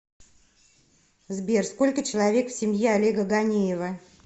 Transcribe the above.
сбер сколько человек в семье олега ганеева